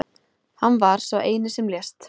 Hann var sá eini sem lést